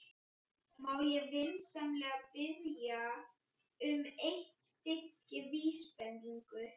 Má ég vinsamlega biðja um eitt stykki vísbendingu?